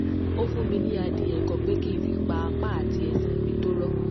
ó fún mi ní adìẹ kan pé kí n fi pa apá àti ẹsẹ̀ mi tó rọ̀